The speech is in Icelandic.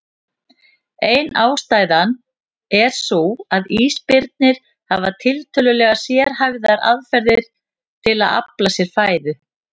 Ein ástæðan er sú að ísbirnir hafa tiltölulega sérhæfðar aðferðir til að afla sér fæðu.